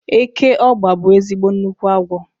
Eke ọ́gba bụ ezigbo nnukwu agwọ